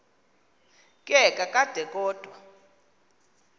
ke kakade kodwa